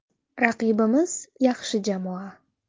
Raqibimiz yaxshi jamoa.